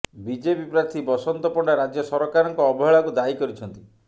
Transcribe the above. BJP ପ୍ରାର୍ଥୀ ବସନ୍ତ ପଣ୍ତା ରାଜ୍ୟ ସରକାରଙ୍କ ଅବହେଳାକୁ ଦାୟୀ କରିଛନ୍ତି